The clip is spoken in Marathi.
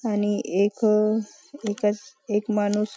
आणि एक अह एका एक माणूस --